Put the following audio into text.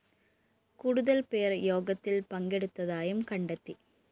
കൂടുതല്‍ പേര്‍ യോഗത്തില്‍ പങ്കെടുത്തതായും കണ്ടെത്തി